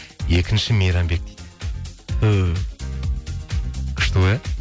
екінші мейрамбек дейді түһ күшті ғой иә